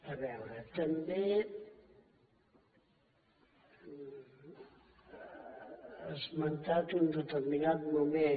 a veure també ha esmentat en un determinat moment